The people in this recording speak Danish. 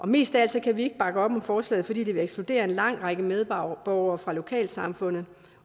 mest af alt kan vi ikke bakke op om forslaget fordi det vil ekskludere en lang række medborgere fra lokalsamfundet